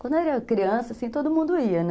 Quando eu era criança, assim, todo mundo ia, né?